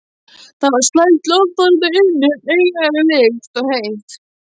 Það var slæmt loft þarna inni, einkennileg lykt og heitt.